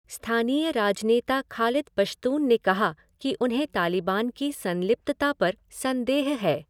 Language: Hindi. स्थानीय राजनेता खालिद पश्तून ने कहा कि उन्हें तालिबान की संलिप्तता पर संदेह है।